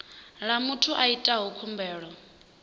ḽa muthu a itaho khumbelo